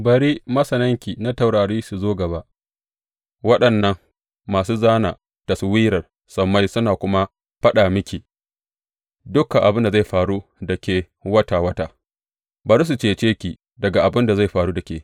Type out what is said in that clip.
Bari masananki na taurari su zo gaba, waɗannan masu zāna taswirar sammai suna kuma faɗa miki dukan abin da zai faru da ke wata wata, bari su cece ki daga abin da zai faru da ke.